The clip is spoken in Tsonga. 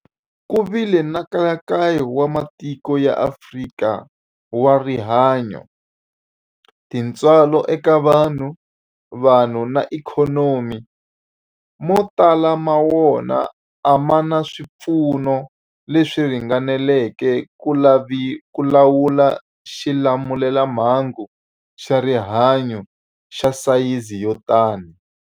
Ku vile nkayakayo wa matiko ya Afrika wa rihanyu, tintswalo eka vanhu, vanhu na ikhonomi, mo tala ma wona a ma na swipfuno leswi ringaneleke ku lawula xilamulelamhangu xa rihanyu xa sayizi yo tani.